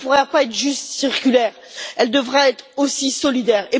Mais elle ne pourra pas être juste circulaire, elle devra être aussi solidaire.